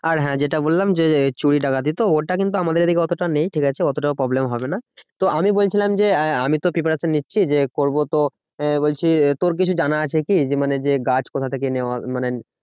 আর হ্যাঁ যেটা বললাম যে, চুরি ডাকাতি তো? ওটা কিন্তু আমাদের এদিকে অতটা নেই ঠিকাছে? অতটা problem হবে না। তো আমি বলছিলাম যে আহ আমিতো preparation নিচ্ছি যে করবো তো আহ বলছি তোর কিছু জানা আছে কি? যে মানে যে গাছ কোথা থেকে নেওয়া মানে